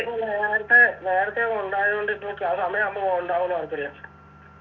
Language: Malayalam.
നേരത്തെ നേരത്തെയൊക്കെ ഉണ്ടായൊണ്ട് ഇപ്പൊക്ക് ആ സമയാവുമ്പോ ഉണ്ടാവാൻ താല്പര്യ